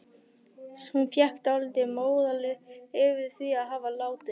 Hún fékk dálítinn móral yfir því að hafa látið